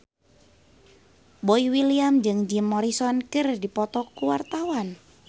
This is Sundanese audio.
Boy William jeung Jim Morrison keur dipoto ku wartawan